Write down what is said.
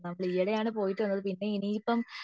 നമ്മൾ ഈ ഐഡി ആണ് പോയിട്ടുള്ളത് ഇനി ഇപ്പൊ